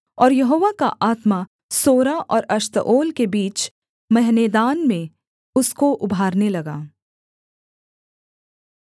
और यहोवा का आत्मा सोरा और एश्ताओल के बीच महनेदान में उसको उभारने लगा